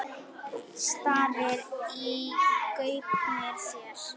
Starir í gaupnir sér.